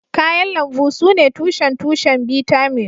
Kayan lambu sune tushen tushen bitamin